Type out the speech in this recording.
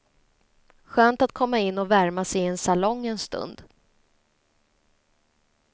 Skönt att komma in och värma sig i en salong en stund.